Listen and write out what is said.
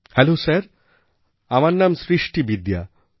hello sir আমার নাম সৃষ্টি বিদ্যা